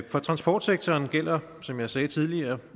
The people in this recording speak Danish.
for transportsektoren gælder som jeg også sagde tidligere